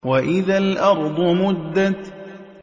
وَإِذَا الْأَرْضُ مُدَّتْ